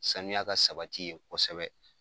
Saniya ka sabati ye kɔsɛbɛ